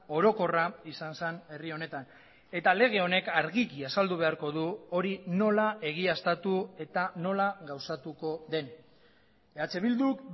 orokorra izan zen herri honetan eta lege honek argiki azaldu beharko du hori nola egiaztatu eta nola gauzatuko den eh bilduk